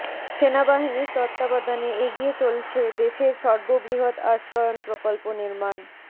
সেনাবাহিনীর তত্ত্বাবধানে এগিয়ে চলছে দেশের সর্ববৃহৎ আশ্রয়ণ প্রকল্প নির্মাণ